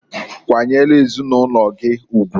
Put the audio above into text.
Kwanyelu ezinulogi ugwuǃ